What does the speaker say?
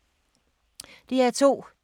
DR2